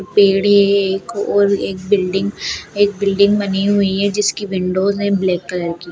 पेड़े है एक ओर एक बिल्डिंग एक बिल्डिंग बनी हुई है जिसकी विंडोज है ब्लैक कलर की।